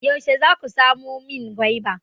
Yaushe za ku samo min gwaiba?